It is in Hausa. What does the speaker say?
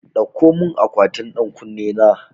Dauko mun akwatin ɗan ƙunne na